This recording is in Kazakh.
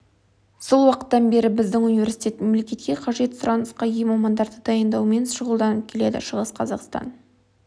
сол уақыттан бері біздің университет мемлекетке қажет сұранысқа ие мамандарды дайындаумен шұғылданып келеді шығыс қазақстан